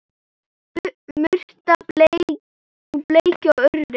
Murta og bleikja og urriði